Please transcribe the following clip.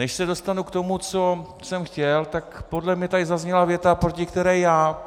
Než se dostanu k tomu, co jsem chtěl, tak podle mě tady zazněla věta, proti které já,